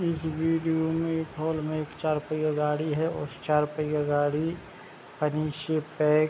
इस विडियो में एक हॉल में एक चार पैया गाड़ी है और चार पैया गाड़ी --